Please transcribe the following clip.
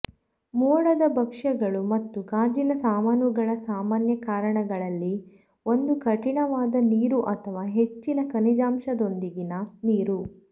ಮೋಡದ ಭಕ್ಷ್ಯಗಳು ಮತ್ತು ಗಾಜಿನ ಸಾಮಾನುಗಳ ಸಾಮಾನ್ಯ ಕಾರಣಗಳಲ್ಲಿ ಒಂದು ಕಠಿಣವಾದ ನೀರು ಅಥವಾ ಹೆಚ್ಚಿನ ಖನಿಜಾಂಶದೊಂದಿಗಿನ ನೀರು